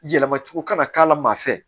Yɛlɛma cogo kana k'a la maa fɛ